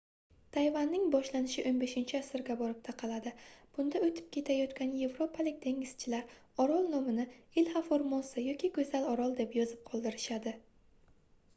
tayvanning boshlanishi 15-asrga borib taqaladi bunda oʻtib ketayotgan yevropalik dengizchilar orol nomini ilha formosa yoki goʻzal orol deb yozib qoldirishadi